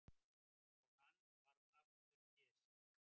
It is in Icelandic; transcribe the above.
Og hann varð aftur Pési.